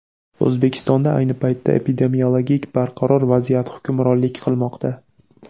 O‘zbekistonda ayni paytda epidemiologik barqaror vaziyat hukmronlik qilmoqda.